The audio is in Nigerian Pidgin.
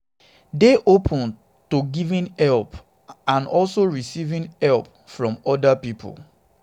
dey open to giving help and also receiving help receiving help from oda pipo